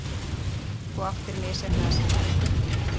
Þú áttir misheppnaða sendingu?